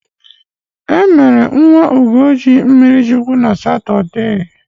E mere nwa Ugochi mmirichukwu na Satọde.